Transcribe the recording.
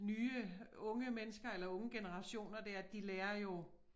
Nye unge mennesker eller unge generationer dér de lærer jo